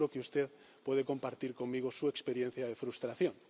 Seguro que usted puede compartir conmigo su experiencia de frustración.